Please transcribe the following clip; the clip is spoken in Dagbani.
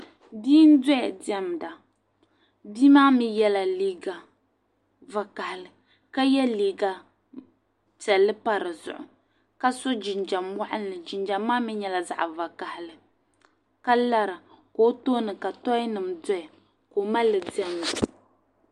bia n-dɔya diɛmda bia maa mi yɛla liiga vakahili ka ye liiga piɛlli pa di zuɣu ka so jinjam waɣinli jinjam maa mi nyɛla zaɣ' vakahili ka lara ka o tooni ka toinima dɔya ka o mali li diɛmda